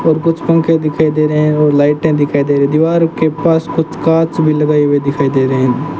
और कुछ पंखे दिखाई दे रहे हैं और लाइटें दिखाई दे रही दीवार के पास कुछ कांच भी लगाई हुई दिखाई दे रहे हैं।